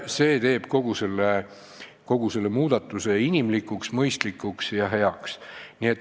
See teeb kogu muudatuse inimlikuks, mõistlikuks ja heaks.